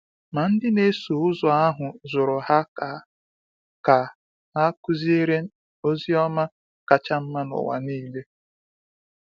Ma ndị na-eso ụzọ ahụ zụrụ ha ka ka ha kụziere ozi ọma kacha mma n’ụwa niile.